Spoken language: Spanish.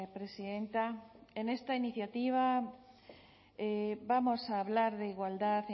presidenta en esta iniciativa vamos a hablar de igualdad